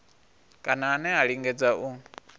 kana ane a lingedza u